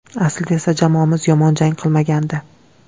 Aslida esa jamoamiz yomon jang qilmagandi.